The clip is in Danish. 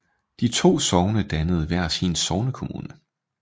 De to sogne dannede hver sin sognekommune